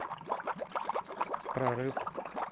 прорыв